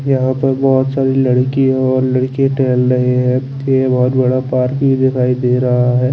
यहाँ पे बहोत सारी लडकी और लडके टहल रहे है फिर बहोत बड़ा पार्क भी दिखाई दे रहा है।